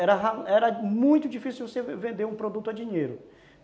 Era muito difícil você vender um produto a dinheiro.